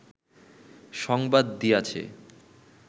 সংবাদ দিয়াছে